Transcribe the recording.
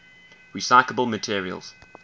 recyclable materials